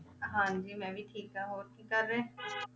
ਹਾਂਜੀ ਮੈਂ ਵੀ ਠੀਕ ਹਾਂ, ਹੋਰ ਕੀ ਕਰ ਰਹੇ